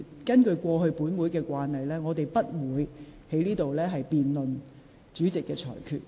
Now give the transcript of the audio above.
根據本會過往的慣例，議員不得在會議上辯論主席的裁決。